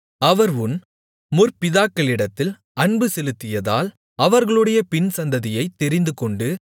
அவர் உன் முற்பிதாக்களிடத்தில் அன்பு செலுத்தியதால் அவர்களுடைய பின்சந்ததியைத் தெரிந்துகொண்டு